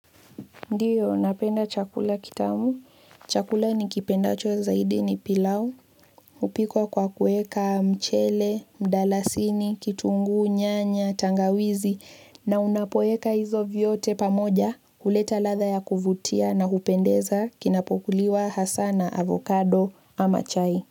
Ndio, napenda chakula kitamu. Chakula nikipendacho zaidi ni pilau. Hupikwa kwa kueka mchele, mdalasini, kitungu, nyanya, tangawizi. Na unapoeka hizo vyote pamoja. Huleta ladha ya kuvutia na hupendeza kinapokuliwa hasa na, avocado, ama chai.